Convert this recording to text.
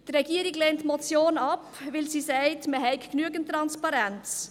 Die Regierung lehnt die Motion ab, und sie sagt, man habe genügend Transparenz.